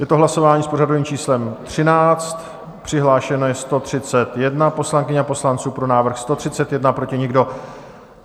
Je to hlasování s pořadovým číslem 13, přihlášeno je 131 poslankyň a poslanců, pro návrh 131, proti nikdo.